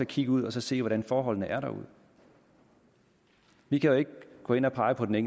kigge ud og så se hvordan forholdene er derude vi kan jo ikke gå ind og pege på de